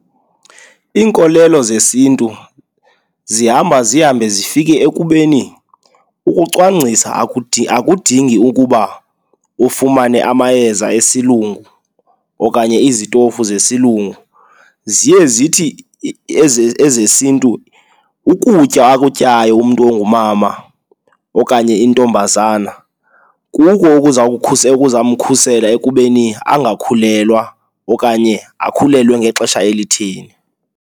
Iinkolelo zesiNtu zihamba zihambe zifike ekubeni ukucwangcisa akudingi ukuba ufumane amayeza esilungu okanye izitofu zesilungu. Ziye zithi ezesiNtu, ukutya akutyayo umntu ongumama okanye intombazana kuko okuza okuza mkhusela ekubeni angakhulelwa okanye akhulelwe ngexesha elithini.